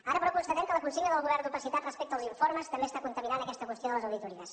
ara però constatem que la consigna del govern d’opacitat respecte als informes també està contaminant aquesta qüestió de les auditories